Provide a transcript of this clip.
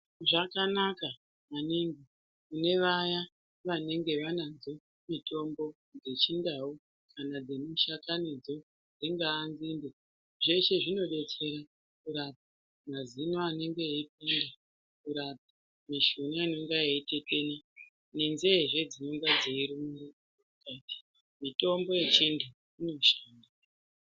Zvakanaka maningi kune vaya vanenge vanadzo mitombo dzechindau kana dzemishakanidzo. Dzingaa nzinde zveshe zvinobetsera kurapa mazino anenge eipanda kurapa mishuna inenge yeitetena ngenzeezve dzinenga dzeiruma, mitombo yechivantu inoshanda.